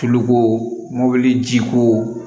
Tuluko mobili jiko